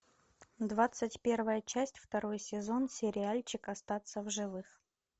двадцать первая часть второй сезон сериальчик остаться в живых